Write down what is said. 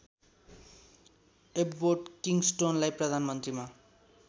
Abbott किङस्टोनलाई प्रधानमन्त्रीमा